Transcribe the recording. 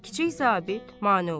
Kiçik zabit mane olur.